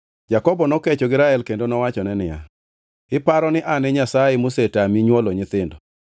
Jakobo nokecho gi Rael kendo nowachone niya, “Iparo ni an e Nyasaye mosetami nywolo nyithindo?”